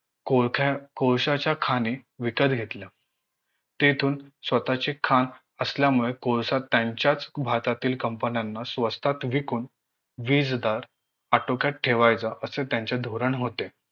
कोळख्या कोळश्याच्या खाणी विकत घेतल्या तेथून स्वतःची खाण असल्यामुळे कोळसा त्यांच्याच भात्यातील company न्याना स्वस्तात विकून वीज दर आटोक्यात ठेवायचा असे त्यांचे धोरण होते